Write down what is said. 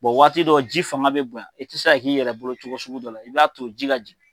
Bɔn waati dɔ ji faama be bonya i te se k'i yɛrɛ bolo cogo sugu dɔ la i b'a to ji ka ji